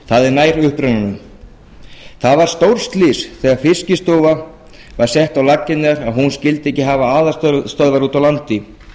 það er nær upprunanum það var stórslys þegar fiskistofa var sett á laggirnar að hún skyldi ekki hafa aðalstöðvar úti á landi